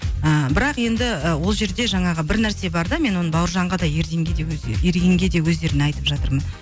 ыыы бірақ енді ы ол жерде жаңағы бір нәрсе бар да мен оны бауыржанға да ерденге де өзі ерденге де өздеріне айтып жатырмын